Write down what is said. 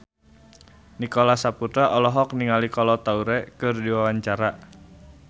Nicholas Saputra olohok ningali Kolo Taure keur diwawancara